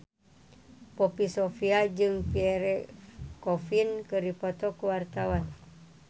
Poppy Sovia jeung Pierre Coffin keur dipoto ku wartawan